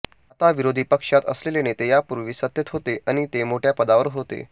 आता विरोधी पक्षात असलेले नेते यापूर्वी सत्तेत होते आणि ते मोठ्या पदावर होते